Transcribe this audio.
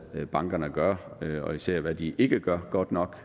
bankerne gør og især hvad de ikke gør godt nok